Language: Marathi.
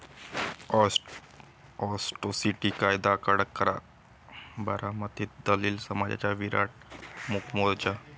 अॅट्रोसिटी कायदा कडक करा, बारामतीत दलित समाजाचा विराट मूकमोर्चा